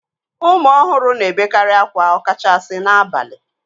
Ụmụ ọhụrụ na-ebekarị akwa ọkachasi n'abalị